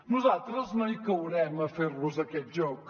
nosaltres no caurem a fer los aquest joc